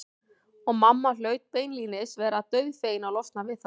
Og mamma hlaut beinlínis að vera dauðfegin að losna við þá.